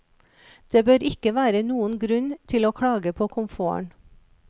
Det bør ikke være noen grunn til å klage på komforten.